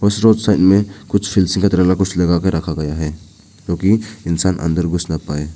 Side में कुछ लगा के रखा गया है क्योंकि इंसान अंदर घुस ना पाए।